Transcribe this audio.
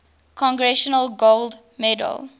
congressional gold medal